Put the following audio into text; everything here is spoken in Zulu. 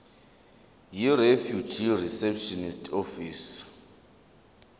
yirefugee reception office